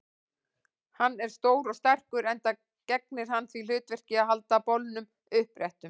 Hann er stór og sterkur, enda gegnir hann því hlutverki að halda bolnum uppréttum.